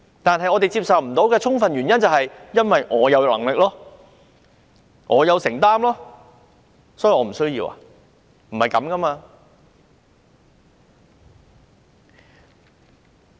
但是，我們不能接受的原因，就是說自己很有能力、很有承擔，所以不需要做這個程序。